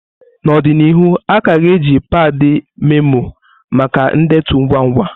N'ọdịnihu, a ka ga-eji padi memoó maka ndetu ngwa ngwa.